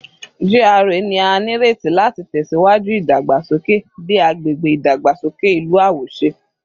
GRA ni a nireti lati tẹsiwaju idagbasoke bi agbegbe idagbasoke ilu awoṣe